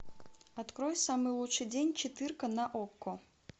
открой самый лучший день четырка на окко